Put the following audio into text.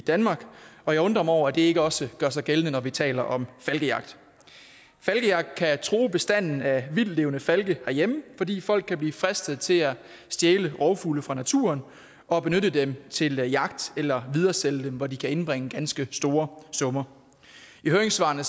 danmark og jeg undrer mig over at det ikke også gør sig gældende når vi taler om falkejagt falkejagt kan true bestanden af vildtlevende falke herhjemme fordi folk kan blive fristet til at stjæle rovfugle fra naturen og benytte dem til jagt eller videresælge dem hvor de kan indbringe ganske store summer i høringssvarene